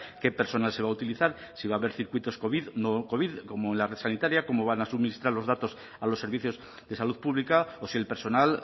qué personal se va a utilizar si va a haber circuitos covid no covid como en la red sanitaria cómo van a suministrar los datos a los servicios de salud pública o si el personal